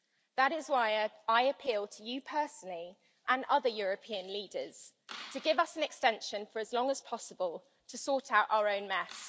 That is why I appeal to you personally and other European leaders to give us an extension for as long as possible to sort out our own mess.